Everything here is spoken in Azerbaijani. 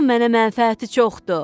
Bunun mənə mənfəəti çoxdur.